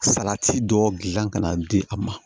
Salati dɔ dilan ka na di a ma